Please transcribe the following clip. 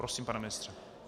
Prosím, pane ministře.